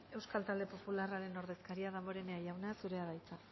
euskal talde popularraren ordezkaria damborenea jauna zurea da hitza